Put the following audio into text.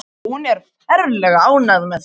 Hún er ferlega ánægð með þig.